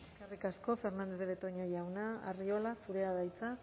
eskerrik asko fernandez de betoño jauna arriola zurea da hitza